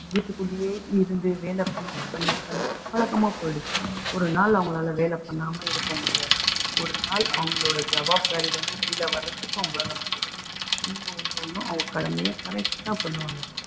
வீட்டுக்குள்ளேயே இருந்து வேலை பண்ணி பண்ணி பண்ணி பழக்கமா போயிடுச்சு ஒரு நாள் அவங்களால வேலை பண்ணாம இருக்க முடியாது. ஒரு நாள் அவங்களோட இருந்து வெளியில வர்றதுக்கு அவங்களால முடியாது. ஒண்ணு ஒண்ணு ஒண்ணும் அவங்க கடமையை correct ஆ பண்ணுவாங்க